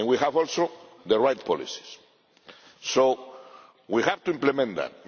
We also have the right policies, so we have to implement them.